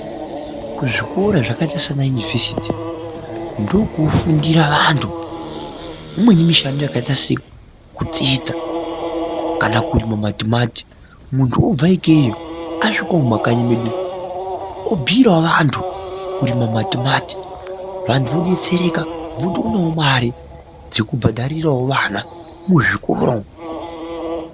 Kuzvikora zvakaita sanayunivhesiti, ndokunofundira vantu imweni mishando yakaita sekutsetsa kana kurima matimati. Muntu obva ikeyo asvikawo mumakanyi medu umu, obhuyirawo vantu kurima matimati, vantu vodetsereka votoonawo mare dzekubhadharirawo vana muzvikora umu.